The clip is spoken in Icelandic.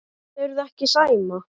Þolirðu ekki Sæma?